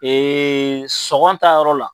sɔgɔn ta yɔrɔ la